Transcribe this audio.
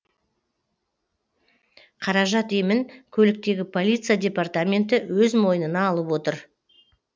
қаражат емін көліктегі полиция департаменті өз мойнына алып отыр